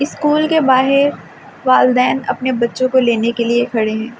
School के बाहर वालदैन अपने बच्चों को लेने के लिए खड़े हैं।